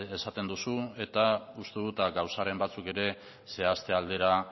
esaten duzu eta uste dut gauzaren batzuk ere zehazte aldera